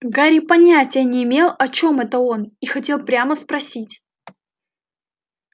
гарри понятия не имел о чём это он и хотел прямо спросить